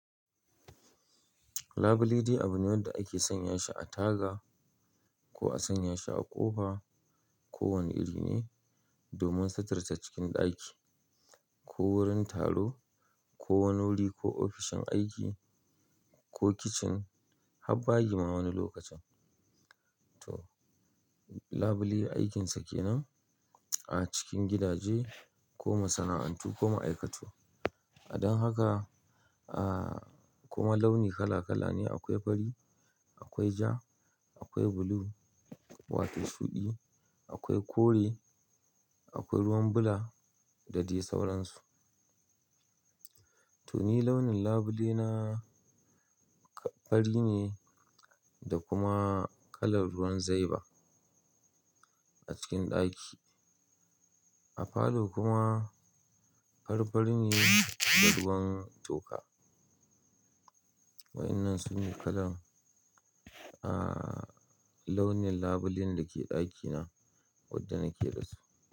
Labule dai abu ne wanda ake sanya shi a taga. Ko a sanya shi a ƙofa ko wanne iri ne. Domin sitirta cikin ɗaki. Ko wurin taro ko wani wuri ko ofishin aiki ko kicin har bayi ma wani lokacin. To labule aikinsa ke nan a cikin gidaje ko masana'antu ko ma aikatu. A don haka, ah, kuma launi kala kala ne akwai fari, akwai ja, akwai blue wato shuɗi, akwai kore, akwai ruwan bula da dai sauransu. To ni launin labule na fari ne da kuma kalar ruwan zaiba a cikin ɗaki. A falo kuma farfari ne da ruwan toka. Waƴnnan su ne kalan, ah, launin labulen da ke ɗaki na. Wadda nake da su.